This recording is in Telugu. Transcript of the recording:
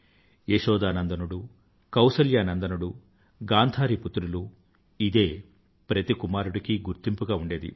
యశోదానందనుడు కౌసల్యా నందనుడు గాంథారీ పుత్రులు ఇదే ప్రతి కుమారుడికీ గుర్తింపుగా ఉండేది